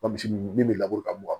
min bɛ laburu ka mugan